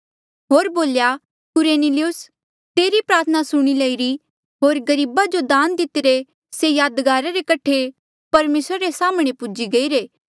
होर बोल्या कुरनेलियुस तेरी प्रार्थना सुणी लईरी होर गरीबा जो दान दितिरे से यादगारा रे कठे परमेसरा रे साम्हणें पूजी गईरे